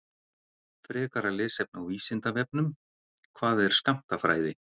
Frekara lesefni á Vísindavefnum: Hvað er skammtafræði?